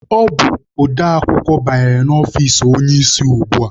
Ọ bụ odeakwụkwọ banyere na ọfici onye isi ugbua.